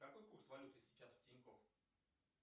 какой курс валюты сейчас в тинькофф